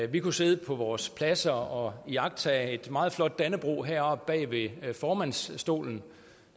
vi kunne sidde på vores pladser og iagttage et meget flot dannebrog heroppe bag ved formandsstolen